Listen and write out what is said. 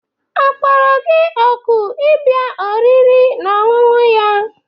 Akpọrọ gị òkù ịbịa oriri na ọṅụṅụ ya?